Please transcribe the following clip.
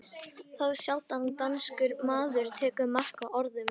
Þá sjaldan danskur maður tekur mark á orðum